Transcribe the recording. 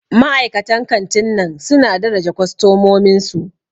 Ma'aikatan kantin nan suna daraja kostomomin su.